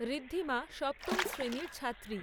ঋদ্ধিমা সপ্তম শ্রেণীর ছাত্রী।